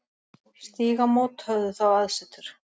Stígamót höfðu þá aðsetur.